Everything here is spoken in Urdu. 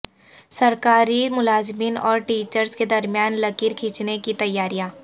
سرکاری ملازمین اور ٹیچرس کے درمیان لکھیر کھینچنے کی تیاریاں